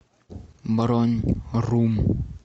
бронь рум